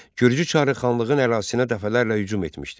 Gürcü çarı xanlığın ərazisinə dəfələrlə hücum etmişdi.